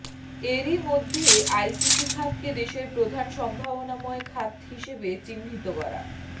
এরই মধ্যে আইসিটি খাতকে দেশের প্রধান সম্ভাবনাময় খাত হিসেবে চিহ্নিত করা